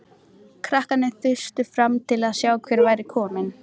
Krakkarnir þustu fram til að sjá hver væri kominn.